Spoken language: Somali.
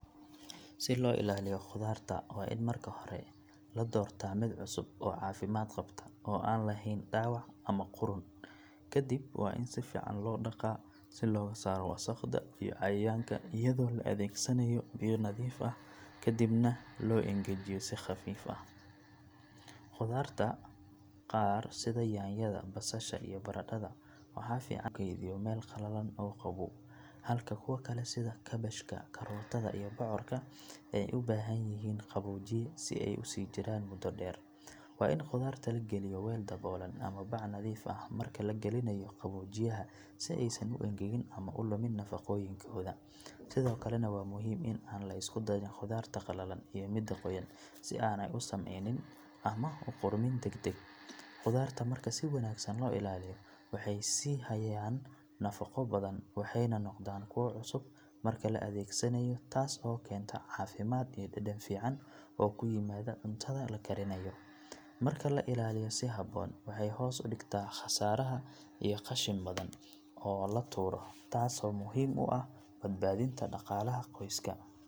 Si loo ilaaliyo khudaarta waa in marka hore la doortaa mid cusub oo caafimaad qabta oo aan lahayn dhaawac ama qudhun kadib waa in si fiican loo dhaqaa si looga saaro wasakhda iyo cayayaanka iyadoo la adeegsanayo biyo nadiif ah ka dibna loo engejiyo si khafiif ah. Khudaarta qaar sida yaanyada, basasha iyo baradhada waxaa fiican in lagu kaydiyo meel qalalan oo qabow halka kuwa kale sida kaabashka, karootada iyo bocorka ay u baahan yihiin qaboojiye si ay u sii jiraan muddo dheer. Waa in khudaarta la geliyo weel daboolan ama bac nadiif ah marka la gelinayo qaboojiyaha si aysan u engegin ama u lumin nafaqooyinkooda sidoo kalena waa muhiim in aan la isku darin khudaarta qallalan iyo midda qoyan si aanay u sumaynin ama u qudhmin degdeg. Khudaarta marka si wanaagsan loo ilaaliyo waxay sii hayaan nafaqo badan waxayna noqdaan kuwo cusub marka la adeegsanayo taas oo keenta caafimaad iyo dhadhan fiican oo ku yimaada cuntada la karinayo. Marka la ilaaliyo si habboon waxay hoos u dhigtaa khasaaraha iyo qashin badan oo la tuuro taasoo muhiim u ah badbaadinta dhaqaalaha qoyska.